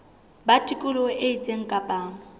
ba tikoloho e itseng kapa